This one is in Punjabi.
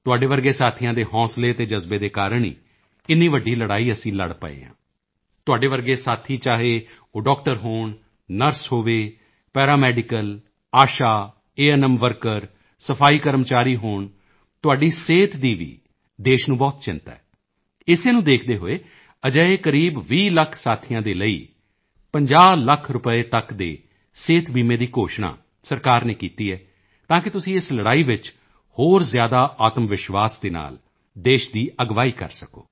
ਤੁਹਾਡੇ ਵਰਗੇ ਸਾਥੀਆਂ ਦੇ ਹੌਂਸਲੇ ਅਤੇ ਜਜ਼ਬੇ ਦੇ ਕਾਰਣ ਹੀ ਇੰਨੀ ਵੱਡੀ ਲੜਾਈ ਅਸੀਂ ਲੜ ਪਾ ਰਹੇ ਹਾਂ ਤੁਹਾਡੇ ਵਰਗੇ ਸਾਥੀ ਚਾਹੇ ਉਹ ਡਾਕਟਰ ਹੋਣ ਨਰਸ ਹੋਵੇ ਪੈਰਾਮੈਡੀਕਲ ਆਸ਼ਾ ਏਐੱਨਐੱਮ ਵਰਕਰ ਸਫਾਈ ਕਰਮਚਾਰੀ ਹੋਣ ਤੁਹਾਡੀ ਸਿਹਤ ਦੀ ਵੀ ਦੇਸ਼ ਨੂੰ ਬਹੁਤ ਚਿੰਤਾ ਹੈ ਇਸੇ ਨੂੰ ਦੇਖਦੇ ਹੋਏ ਅਜਿਹੇ ਕਰੀਬ 20 ਲੱਖ ਸਾਥੀਆਂ ਦੇ ਲਈ 50 ਲੱਖ ਰੁਪਏ ਤੱਕ ਦੇ ਸਿਹਤ ਬੀਮਾ ਦਾ ਐਲਾਨ ਸਰਕਾਰ ਨੇ ਕੀਤਾ ਹੈ ਤਾਂ ਕਿ ਤੁਸੀਂ ਇਸ ਲੜਾਈ ਵਿੱਚ ਹੋਰ ਜ਼ਿਆਦਾ ਆਤਮਵਿਸ਼ਵਾਸ ਦੇ ਨਾਲ ਦੇਸ਼ ਦੀ ਅਗਵਾਈ ਕਰ ਸਕੋ